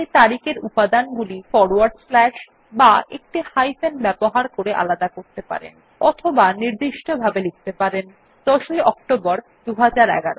আপনি তারিখ এর উপাদানগুলি ফরওয়ার্ড স্ল্যাশ বা একটি হাইফেন ব্যবহার করে আলাদা করতে পারেন অথবা নির্দিষ্টভাবে লিখতে পারেন যেমন ১০ অক্টোবর ২০১১